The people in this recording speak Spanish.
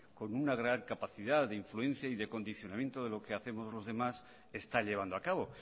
con una gran de capacidad de influencia y de condicionamiento de lo que hacemos los demás está llevando a cabo